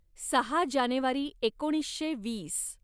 सहा जानेवारी एकोणीसशे वीस